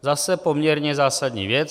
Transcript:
Zase poměrně zásadní věc.